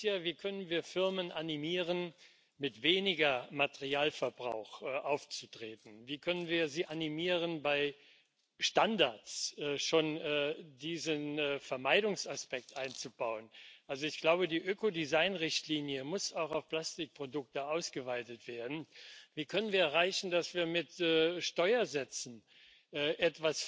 ich dafür werben, dass möglichst viele von Ihnen am 15. September am Global Clean up Day teilnehmen, bei dem wir uns weltweit